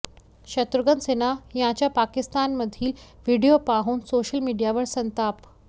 शत्रुघ्न सिन्हा यांचा पाकिस्तानमधील व्हिडीओ पाहून सोशल मीडियावर संताप